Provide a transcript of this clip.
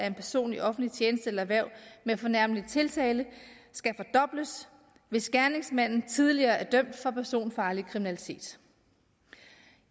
en person i offentlig tjeneste eller hverv med fornærmelig tiltale skal fordobles hvis gerningsmanden tidligere er dømt for personfarlig kriminalitet